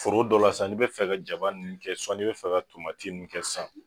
Foro dɔ la sisan ni be fɛ ka jaba nunnu kɛ suwa n'i be fɛ ka tomati nunnu kɛ san